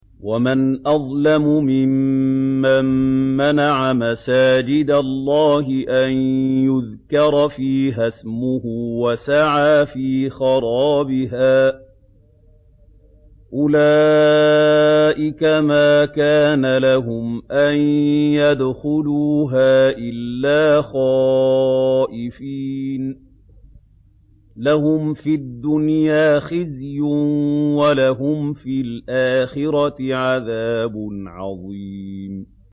وَمَنْ أَظْلَمُ مِمَّن مَّنَعَ مَسَاجِدَ اللَّهِ أَن يُذْكَرَ فِيهَا اسْمُهُ وَسَعَىٰ فِي خَرَابِهَا ۚ أُولَٰئِكَ مَا كَانَ لَهُمْ أَن يَدْخُلُوهَا إِلَّا خَائِفِينَ ۚ لَهُمْ فِي الدُّنْيَا خِزْيٌ وَلَهُمْ فِي الْآخِرَةِ عَذَابٌ عَظِيمٌ